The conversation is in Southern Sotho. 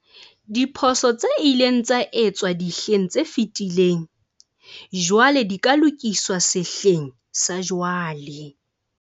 Diphoso tse ileng tsa etswa dihleng tse fetileng jwale di ka lokiswa sehleng sa jwale.